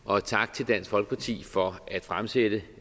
og tak til dansk folkeparti for at fremsætte